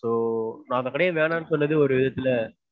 so அந்த கடைய வேண்டானு சொல்லிட்டு ஒரு சில